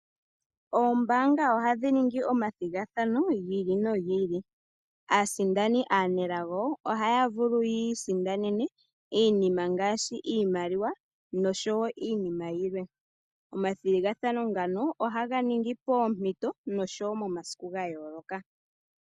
Oombaanga ohadhi ningi omathigathano giili nogiili . Aasindani aanelago ohaya vulu yiisindanene iinima ngaashi iimaliwa noshowoo iinima yilwe. Omathigathano ngano ohaga ningi poompito oshowoo momasiku gayooloka.